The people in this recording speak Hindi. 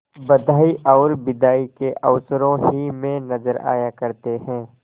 बधाई और बिदाई के अवसरों ही में नजर आया करते हैं